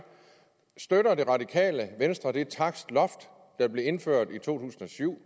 støtter det radikale venstre det takstloft der blev indført i 2007